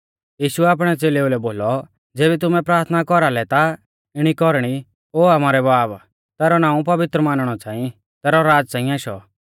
यीशुऐ आपणै च़ेलेउलै बोलौ ज़ेबी तुमै प्राथना कौरा लै ता इणी कौरणी ओ आमारै बाब तैरौ नाऊं पवित्र मानणौ च़ांई तैरौ राज़ च़ांई आशौ